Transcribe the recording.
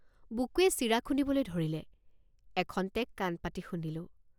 বুকুৱে চিৰা খুন্দিবলৈ ধৰিলে। বুকুৱে চিৰা খুন্দিবলৈ ধৰিলে। এখন্তেক কাণপাতি শুনিলোঁ।